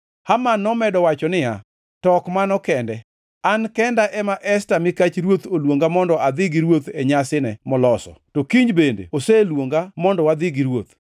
Haman nomedo wacho niya, “To ok mano kende, an kenda ema Esta mikach ruoth oluonga mondo adhi gi ruoth e nyasine moloso, to kiny bende oseluonga mondo wadhi gi ruoth.